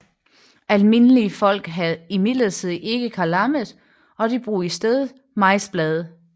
Almindelige folk havde imidlertid ikke kalamet og de brugte i stedet majsblade